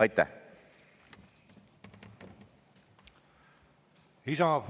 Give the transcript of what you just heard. Aitäh!